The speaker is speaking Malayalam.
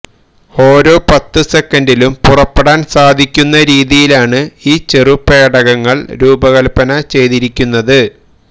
ഒരോ പത്ത് സെക്കന്റിലും പുറപ്പെടാന് സാധിക്കുന്ന രീതിയിലാണ് ഈ ചെറു പേടകങ്ങള് രൂപകല്പ്പന ചെയ്തിരിക്കുന്നത്